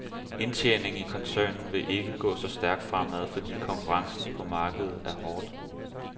Indtjeningen i koncernen vil ikke gå så stærkt fremad, fordi konkurrencen på markedet er meget hård.